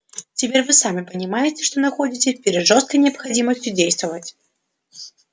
теперь вы сами понимаете что находитесь перед жёсткой необходимостью действовать